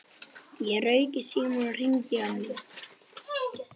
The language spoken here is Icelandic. Ég rauk í símann og hringdi í mömmu.